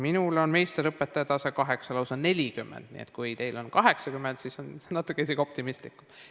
Minul on meisterõpetajaid, tase 8, lausa 40, nii et kui teil on 80, siis on see isegi optimistlikum.